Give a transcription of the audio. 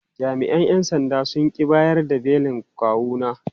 Jami’an ‘yan sandan sun ƙi bayar da belin kawuna.